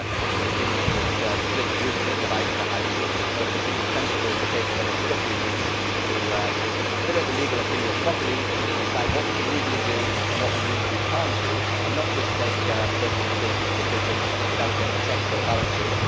It is an opinion which splits groups and divides the House, but we think it is sensible to take another two or three weeks to consider the legal opinion properly in order to decide what we can legally do and what we legally cannot do, and not just take President Schultz's decision without any checks or balances.